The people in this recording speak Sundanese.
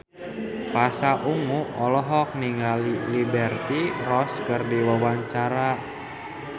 Pasha Ungu olohok ningali Liberty Ross keur diwawancara